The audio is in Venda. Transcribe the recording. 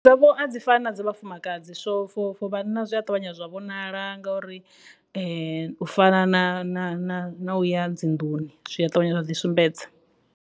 A dzi fana na dza vhafumakadzi so na zwi a ṱavhanya zwa vhonala ngauri u fana na ya dzinḓuni zwi a ṱavhanya wa ḓi sumbedza.